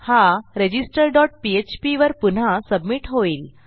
हा register dot PHP वर पुन्हा सबमिट होईल